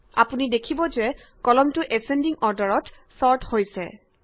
আপুনি দেখিব যে কলমটো এচছেন্ডিং অৰ্ডাৰত ছৰ্ট হৈছে